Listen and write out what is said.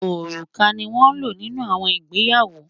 Ọrúkà ni won ló nínú àwọn ìgbéyàwó